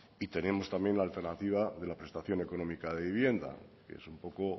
y tenemos también la alternativa de la prestación económica de vivienda que es un poco